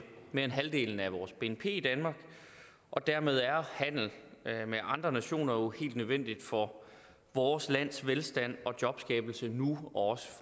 mere end halvdelen af vores bnp i danmark og dermed er handel med andre nationer jo helt nødvendigt for vores lands velstand og jobskabelse nu og også